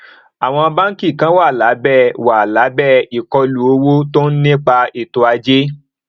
àwọn báńkì kan wà lábẹ wà lábẹ ìkọlù owó tó ń ní ipa ètòajé